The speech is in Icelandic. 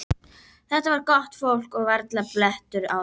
Þetta var gott fólk og varla blettur á þeim.